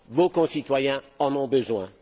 Vos concitoyens en ont besoin.